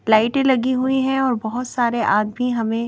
लाइटें लगी हुई है और बहुत सारे आदमी हमें--